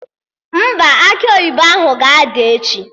Mba, akị oyibo ahụ ga-ada echi